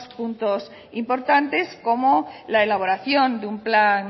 puntos importantes como la elaboración de un plan